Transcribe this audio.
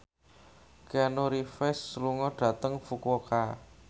Keanu Reeves lunga dhateng Fukuoka